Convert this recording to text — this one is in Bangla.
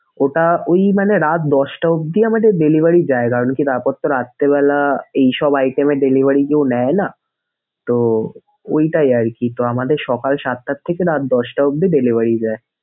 ওটা ঐ মানে রাআত দশটা অবধি আমাদের delivery যায় কারনকি তারপরতো রাত্রিবেলা এইসব item এর delivery কেউ নেয়না তো ঐটাই আরকি তো আমাদের সকাল সাতটা থেকে রাত দশটা অবধি delivery যায়।